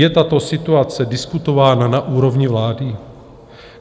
Je tato situace diskutována na úrovni vlády?